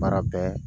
Baara bɛɛ